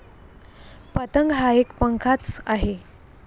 पतंग हा एक पंखाच आहे.